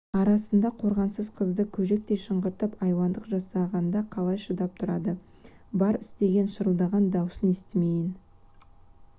арасында қорғансыз қызды көжектей шыңғыртып айуандық жасағанда қалай шыдап тұрды бар істеген шырылдаған дауысын естімейін